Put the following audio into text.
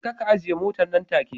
Jeka ka ajiye motar nan take